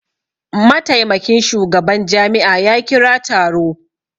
Mataimakin shugaban jami'a ya kira taro